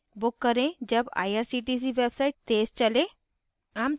book करें जब irctc website तेज़ चले